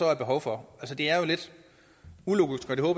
er behov for er jo lidt ulogisk og det